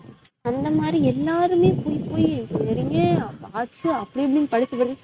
அந்த மாறி எல்லாருமே போய் போய் engineering ங்கு arts சு அப்டி இப்டினு படிச்சுகிட்டு இருக்கு